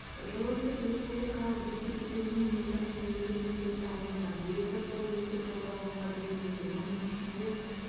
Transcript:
жылы тек республикалық бюджет есебінен миллиард теңгеге мектеп салынуда биылғы жылы мектеп пайдалануға беріледі оның ішінде